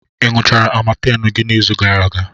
Ị ṅụchara Amatem gị n'izu gara aga?